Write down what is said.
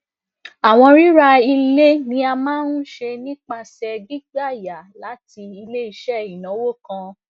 awọn rira ile ni a maa n ṣe nipasẹ gbigba yá lati ileiṣẹ inawo kan